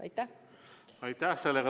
Aitäh!